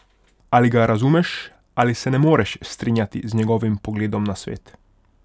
Ali ga razumeš ali se ne moreš strinjati z njegovim pogledom na svet?